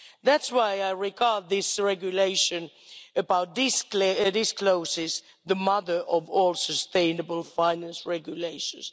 That's why I regard this regulation about these clauses as the mother of all sustainable finance regulations.